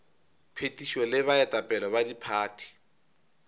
phethišo le baetapele ba diphathi